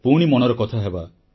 ପୁଣି ମନର କଥା ହେବା